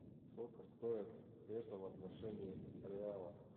сколько стоит песо в отношении реала